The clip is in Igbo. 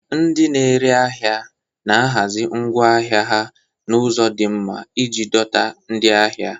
Ndị na-ere ahịa na-ahazi ngwa ahịa ha n'ụzọ di nma iji dọta ndị ahịa.